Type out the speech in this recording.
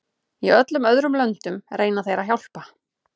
Í öllum öðrum löndum reyna þeir að hjálpa.